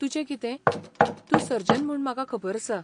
तूजें कितें , तूं सर्जन म्हूण म्हाका खबर आसा.